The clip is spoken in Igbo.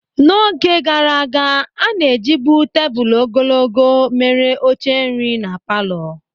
N'oge gaara aga, a na-ejibu tebụl ogologo mere oche nri na palọ.